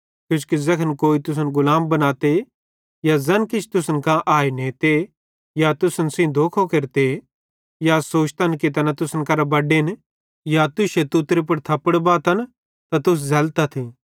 किजोकि ज़ैखन तुसन कोई गुलाम बनातन या ज़ैन किछ तुसन कां आए नेते या तुसन सेइं धोखो केरते या सोचतन कि तैना तुसन करां बड्डेन या तुश्शे तुतरे पुड़ थप्पड़ बातन त तुस झ़ल्लतथ